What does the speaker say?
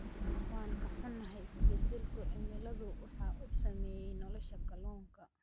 Waan ka xunahay, isbedelka cimiladu waxa uu saameeyaa nolosha kalluunka.